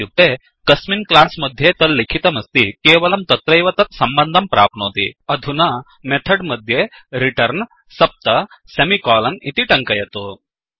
इत्युक्ते कस्मिन् क्लास् मध्ये तल्लिखितमस्ति केवलं तत्रैव तत् सम्बन्धं प्राप्नोति अधुना मेथड् मध्ये returnरिटर्न् सप्त सेमिकोलन् इति तङ्कयतु